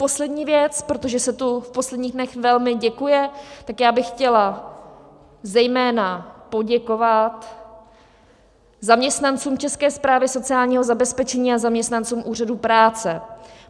Poslední věc, protože se tu v posledních dnech velmi děkuje, tak já bych chtěla zejména poděkovat zaměstnancům České správy sociálního zabezpečení a zaměstnancům Úřadu práce.